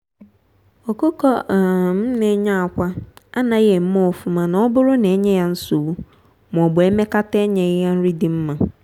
ọkụkọ um na-enye akwa anaghị eme ofụma n'oburu na enye ya nsogbu m'obu emekata enyeghi ya nri dị mma.